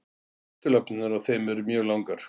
Afturlappirnar á þeim eru mjög langar.